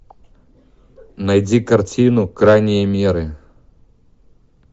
найди картину крайние меры